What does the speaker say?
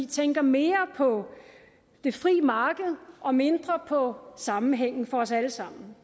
tænker mere på det frie marked og mindre på sammenhængen for os alle sammen